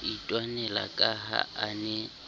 itwanela ka ha a ne